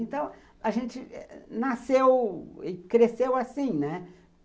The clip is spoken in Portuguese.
Então, a gente nasceu e cresceu assim, né?